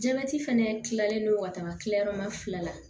Jabɛti fɛnɛ kilalen no ka taga kila yɔrɔ ma fila la